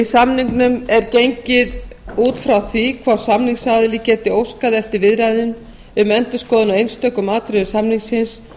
samningnum er gengið út frá því að hvor samningsaðili geti óskað eftir viðræðum um endurskoðun á einstökum atriðum samningsins